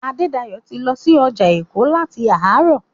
Adédayọ̀ ti lọ sí ọjà Èkó láti àárọ̀.